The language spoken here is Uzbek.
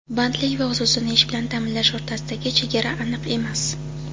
Bandlik va o‘z-o‘zini ish bilan ta’minlash o‘rtasidagi chegara aniq emas.